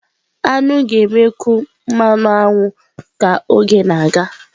Aṅụ ga-emekwu mmanụ aṅụ ka oge na-aga.